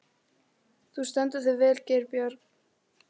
Þú stendur þig vel, Geirbjörg!